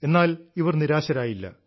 എന്നാൽ ഇവർ നിരാശരായില്ല